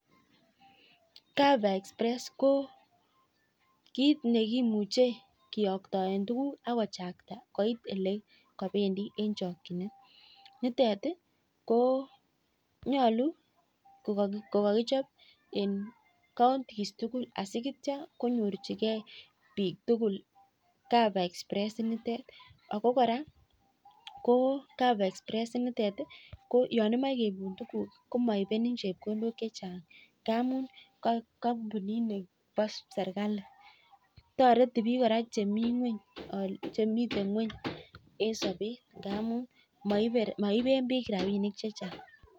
Kit nekimuchi kiyoktoe tuguk akobaa kochakta nyaluu okakichop eng kauntis tugul ako (cover express) maibe rabinik chechang